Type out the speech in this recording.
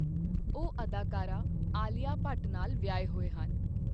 ਉਹ ਅਦਾਕਾਰਾ ਆਲੀਆ ਭੱਟ ਨਾਲ ਵਿਆਹੇ ਹੋਏ ਹਨ I